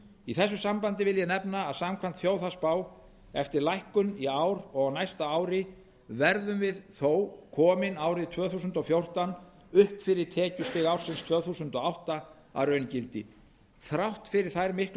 í þessu sambandi vil ég nefna að samkvæmt þjóðhagsspá eftir lækkun í ár og á næsta ári verðum við þó komin árið tvö þúsund og fjórtán upp fyrir tekjustig ársins tvö þúsund og átta að raungildi þrátt fyrir þær miklu